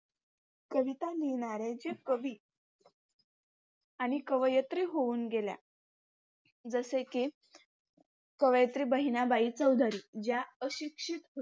कविता लिहिणाऱ्यांचे कवि आणि कवयित्री होऊन गेल्या. जसे की कवयित्री बहिणाबाई चौधरी या अशिक्षित